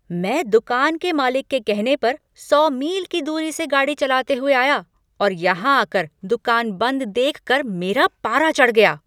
मैं दुकान के मालिक के कहने पर सौ मील की दूरी से गाड़ी चलाते हुए आया और यहां आकर दुकान बंद देख कर मेरा पारा चढ़ गया।